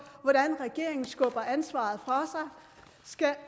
hvordan regeringen skubber ansvaret fra sig